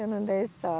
Eu não dei